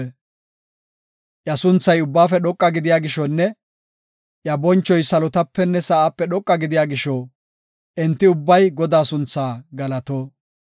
Iya sunthay ubbaafe dhoqa gidiya gishonne iya bonchoy salotapenne sa7ape dhoqa gidiya gisho, enti ubbay Godaa sunthaa galato.